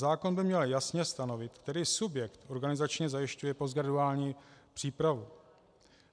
Zákon by měl jasně stanovit, který subjekt organizačně zajišťuje postgraduální přípravu.